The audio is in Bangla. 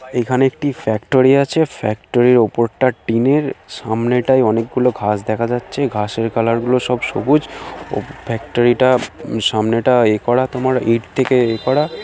এখানে একটি ফ্যাক্টরি আছে। ফ্যাক্টরির ওপরটা টিনের সামনেটায় অনেকগুলো ঘাস দেখা যাচ্ছে ঘাসের কালারগুলো সব সবুজ ও ফ্যাক্টরিটা উম সামনেটা এ করা তোমার ইট থেকে এ করা।